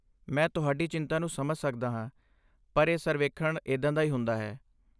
ਮੈਂ ਤੁਹਾਡੀ ਚਿੰਤਾ ਨੂੰ ਸਮਝ ਸਕਦਾ ਹਾਂ, ਪਰ ਇਹ ਸਰਵੇਖਣ ਇੱਦਾਂ ਦਾ ਹੀ ਹੁੰਦਾ ਹੈ।